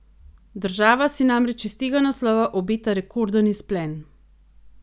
Država si namreč iz tega naslova obeta rekorden izplen.